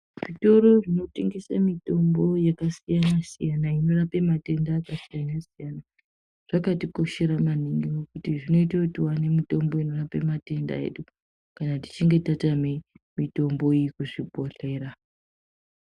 Zvitoro zvinotengese mitombo yakasiyana-siyana inorape matenda akasiyana-siyana. Zvakatikoshera maningi nekuti zvinoite kuti tione mitombo inorape matenda edu, kana tichinge tatame mitombo iyi kuzvibhodhlera.